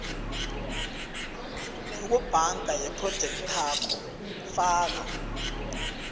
yokubhanga yephrojekthakho faka